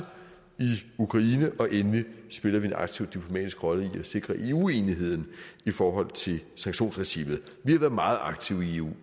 ukraine og endelig spiller vi en aktiv diplomatisk rolle i at sikre eu enigheden i forhold til sanktionsregimet vi har været meget aktive i eu